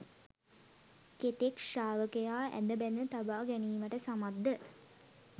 කෙතෙක් ශ්‍රාවකයා ඇද බැඳ තබා ගැනීමට සමත්ද?